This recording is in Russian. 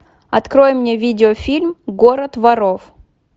открой мне видеофильм город воров